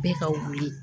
Bɛɛ ka wuli